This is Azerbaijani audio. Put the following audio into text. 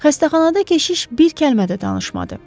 Xəstəxanada keşiş bir kəlmə də danışmadı.